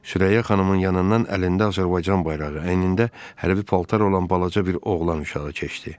Sürəyya xanımın yanından əlində Azərbaycan bayrağı, əynində hərbi paltar olan balaca bir oğlan uşağı keçdi.